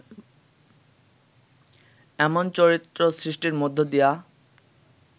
এমন চরিত্র সৃষ্টির মধ্য দিয়া